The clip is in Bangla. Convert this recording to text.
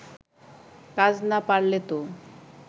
কাজ না পারলেতো